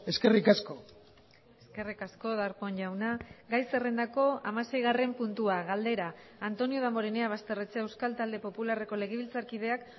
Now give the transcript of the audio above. eskerrik asko eskerrik asko darpón jauna gai zerrendako hamaseigarren puntua galdera antonio damborenea basterrechea euskal talde popularreko legebiltzarkideak